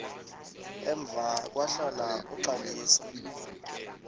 emva kwahlala uxalisa